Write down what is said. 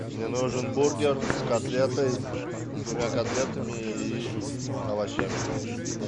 мне нужен бургер с котлетой с двумя котлетами и овощами